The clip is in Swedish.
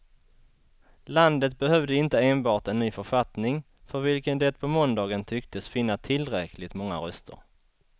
Landet behövde inte enbart en ny författning, för vilken det på måndagen tycktes finna tillräckligt många röster.